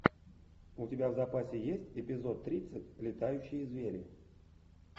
у тебя в запасе есть эпизод тридцать летающие звери